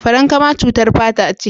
Farankama cutar fata ce.